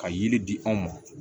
Ka yiri di anw ma